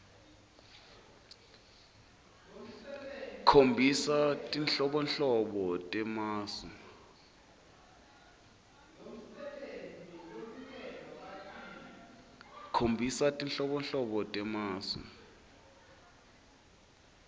khombisa tinhlobonhlobo temasu